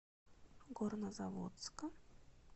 горнозаводска